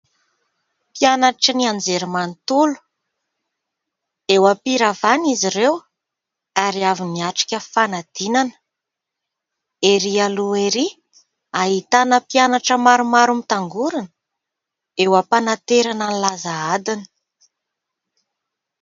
Mpianatry ny anjerimanontolo, eo am-piravana izy ireo ary avy niatrika fanadinana. Erỳ aloha erỳ ahitana mpianatra maromaro mitangorona eo am-panaterana ny laza adina.